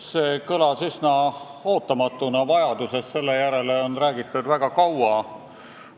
See kõlas üsna ootamatult, kuivõrd vajadusest selle järele on räägitud väga kaua.